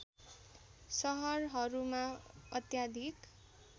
सहरहरूमा अत्याधिक